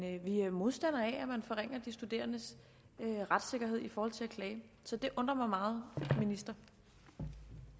vi er modstandere af at man forringer de studerendes retssikkerhed i forhold til at klage så det undrer mig meget må